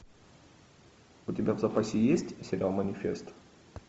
у тебя в запасе есть сериал манифест